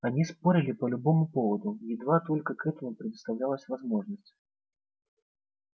они спорили по любому поводу едва только к этому предоставлялась возможность